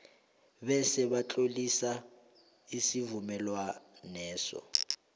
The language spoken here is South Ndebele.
bese batlolisa isivumelwaneso